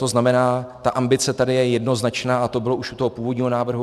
To znamená, ta ambice tady je jednoznačná a to bylo už u toho původního návrhu.